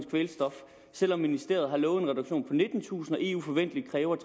kvælstof selv om ministeriet har lovet en reduktion på nittentusind t og eu forventeligt kræver